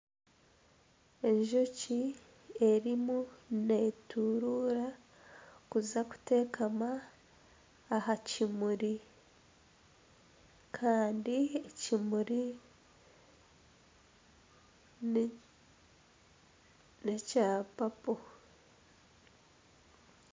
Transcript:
Enjoki erimu neturuura kuza kutekama aha kimuri kandi ekimuri nekya papo